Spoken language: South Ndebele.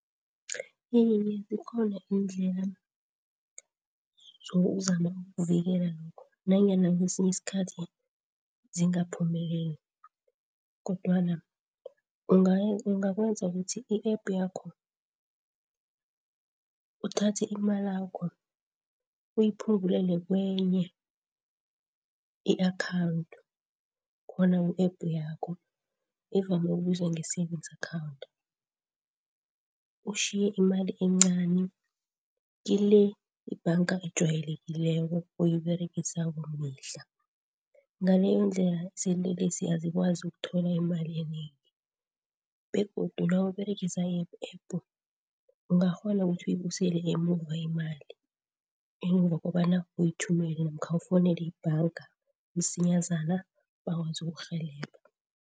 Iye, zikhona iindlela zokuzama ukuvikela lokho, nanyana kwesinye isikhathi zingaphumeleli. Kodwana ungakwenza ukuthi i-App yakho uthathe imalakho uyiphungulele kwenye i-akhawundi khona ku-App yakho evame ukubizwa nge-Savings account. Utjhiye imali encani kile ibhanga ojwayelekileko, oyiberegisako mihla. Ngaleyondlela izinlelesi azikwazi ukuthola imali enengi, begodu nawuberegisa i-App yakho ungakghona ukuthi uyibusele emuva imali, emva kobana uyithumela namkha ufowunele ibhanga msinyazana bakwazi ukurhelebha.